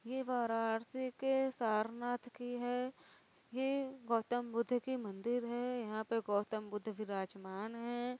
ये वाराणसी के सारनाथ की हैं| यह गौतम बुद्ध की मंदिर हैं| यहाँ पे गौतम बुद्ध विराजमान हैं|